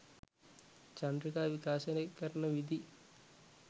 චන්ද්‍රිකා විකාශනය කරන විධි